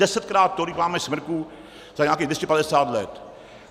Desetkrát tolik máme smrků za nějakých 250 let.